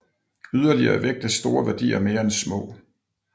Yderligere vægtes store værdier mere end små